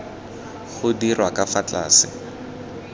go dirwa ka fa tlase